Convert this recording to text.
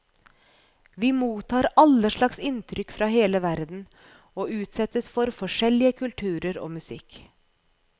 Vi mottar alle slags inntrykk fra hele verden, og utsettes for forskjellige kulturer og musikk.